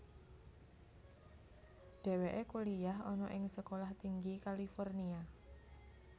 Dheweke kuliyah ana ing Sekolah Tinggi California